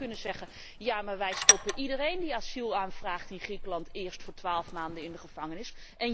U zou dan kunnen zeggen Ja, maar wij stoppen iedereen die asiel aanvraagt in Griekenland eerst voor 12 maanden in de gevangenis!